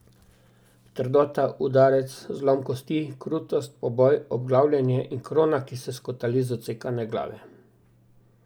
Trdota, udarec, zlom kosti, krutost, poboj, obglavljenje in krona, ki se skotali z odsekane Glave.